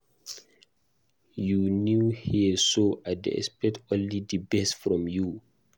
You new here so I dey expect only the best from you.